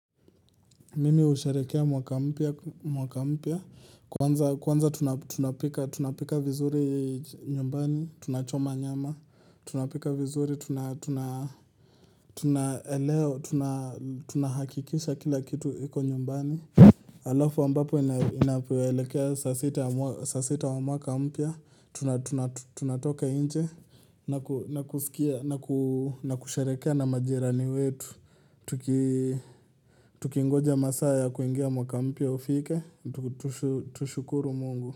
Mimi usherekea mwaka mpya, kwanza tunapika vizuri nyumbani, tunachoma nyama, tunapika vizuri, tunahakikisha kila kitu iko nyumbani Alafu ambapo inapoelekea saa sita wa mwaka mpya, tunatoka inje naku na kusherekea na majirani wetu tuki Tukingoja masaa ya kuingia mwaka mpya ufike, tushukuru mungu.